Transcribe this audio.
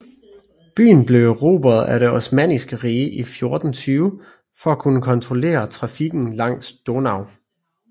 Byen blev erobret af det Osmanniske Rige i 1420 for at kunne kontrollere trafikken langs Donau